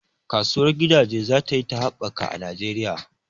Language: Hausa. Kasuwar gidaje zatayi ta habbaka a Najeriya